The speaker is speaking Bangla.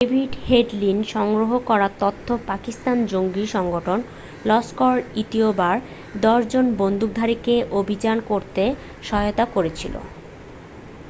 ডেভিড হেডলির সংগ্রহ করা তথ্য পাকিস্তানি জঙ্গি সংগঠন লস্কর-ই-তৈয়বার 10 জন বন্দুকধারীকে অভিযান করতে সহায়তা করেছিল